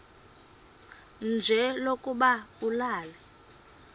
nje lokuba ulale